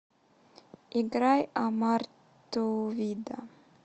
играй амар ту вида